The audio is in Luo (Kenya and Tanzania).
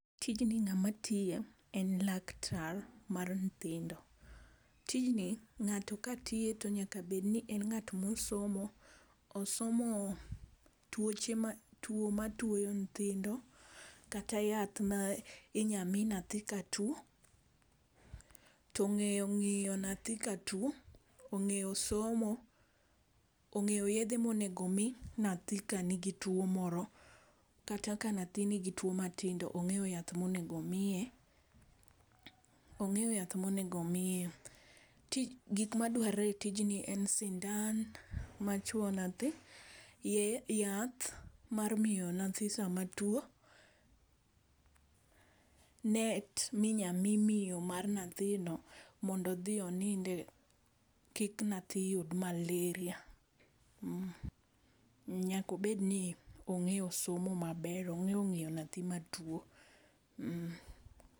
Tijni ng'a ma tiye en laktar mar nyithindo, tijni ng'ato ,ka tiyo to nyaka bed ni en ng'at ma osomo , osomo tuoche ma twoyo nyithindo. Kata yath ma inya mi nyathi ka two ng'eyo ngiyo nyathi ka two ong'eyo somo ong'eyo yedhe ma onego mi nyathi ka ni gi two moro kata ka nyathi ni gi two ma tindo ong'eyo yath ma onego omiye, ong'eyo yath ma onego omiye. Gik ma dwarore e tijni en sindan ma chwo nyathi, yath mar miyo nyathi sa ma two, net mi inya mi miyo mar nyathi mondo odhi oninde kik nyathi yud malaria nyaka obed ni ong'eyo somo, ong'eyo ng'iyo nyathi ma two.